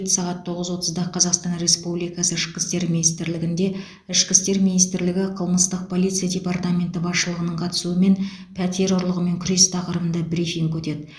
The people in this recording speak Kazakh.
сағат тоғыз отызда қазақстан республикасы ішкі істер министрлігінде ішкі істер министрлігі қылмыстық полиция департаменті басшылығының қатысуымен пәтер ұрлығымен күрес тақырыбында брифинг өтеді